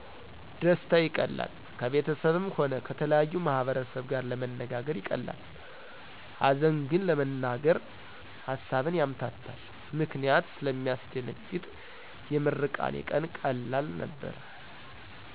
ደስታ ይቀላል ከቤተሰብም ሆነ ከተለያየ ማህበረሰብ ጋር ለመነጋገ ይቀላል ሀዘን ግን ለመናገር ሀሳብን ያምታታን ምክንያት ስለሚያስደነግጥ የምርቃኔ ቀን ቀላል ነበር